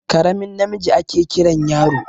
Karamin namiji ake Kiran yaro.